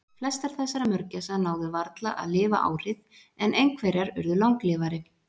Flestar þessara mörgæsa náðu varla að lifa árið en einhverjar urðu langlífari.